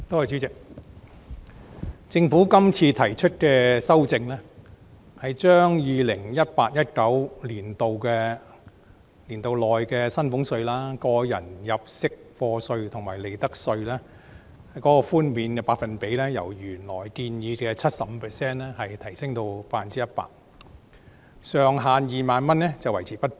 主席，政府今次提出的修正案，是把 2018-2019 課稅年度內的薪俸稅、個人入息課稅及利得稅的稅務寬免百分比由原來建議的 75% 提升至 100%， 上限2萬元維持不變。